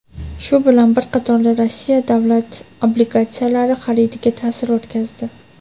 shu bilan bir qatorda Rossiya davlat obligatsiyalari xaridiga ta’sir o‘tkazdi.